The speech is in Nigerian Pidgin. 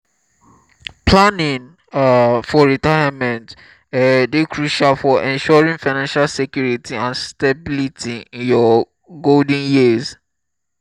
planning um for retirement um dey crucial for ensuring financial security and stability in your golden years.